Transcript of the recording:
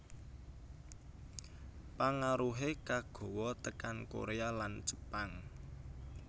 Pangaruhé kagawa tekan Korea lan Jepang